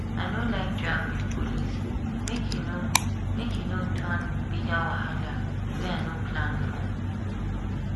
i no like drag with police make e no make e no turn bigger wahala wey i no plan for.